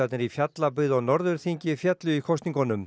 í Fjallabyggð og Norðurþingi féllu í kosningunum